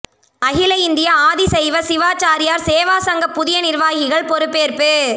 அகில இந்திய ஆதிசைவ சிவாசாரியாா் சேவா சங்க புதிய நிா்வாகிகள் பொறுப்பேற்பு